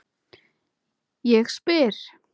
Ég spyr?